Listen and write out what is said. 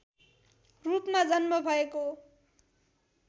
रूपमा जन्म भएको